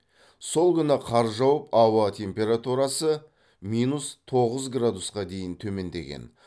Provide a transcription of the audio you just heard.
сол күні қар жауып ауа температурасы минус тоғыз градусқа дейін төмендеген